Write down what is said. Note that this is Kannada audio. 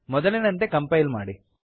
ಮೊದಲಿನಂತೆ ಕಂಪೈಲ್ ಮಾಡಿ